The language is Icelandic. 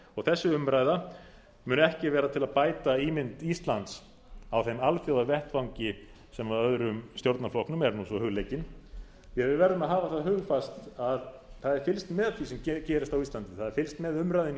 og þessi umræða muni ekki vera til að bæta ímynd íslands á þeim alþjóðavettvangi sem öðrum stjórnarflokknum er svo hugleikin því að við verðum að hafa það hugfast að það er fylgst með því sem gerist á íslandi það er fylgst með umræðunni